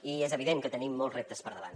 i és evident que tenim molts reptes per davant